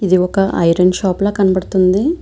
ఇది ఒక iron shop లా కనపడతుంది.